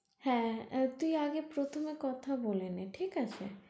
হ্যাঁ আর তুই আগে প্রথমে কথা বলে নে ঠিক আছে?